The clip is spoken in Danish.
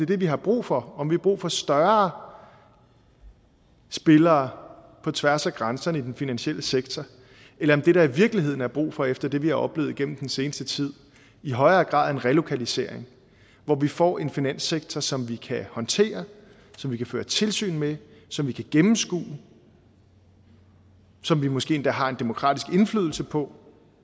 det vi har brug for om vi har brug for større spillere på tværs af grænserne i den finansielle sektor eller om det der i virkeligheden er brug for efter det vi har oplevet igennem den seneste tid i højere grad er en relokalisering hvor vi får en finanssektor som vi kan håndtere som vi kan føre tilsyn med som vi kan gennemskue som vi måske endda har en demokratisk indflydelse på